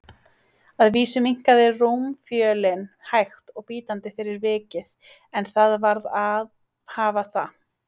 Að vísu minnkaði rúmfjölin hægt og bítandi fyrir vikið, en það varð að hafa það.